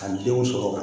Ka denw sɔrɔ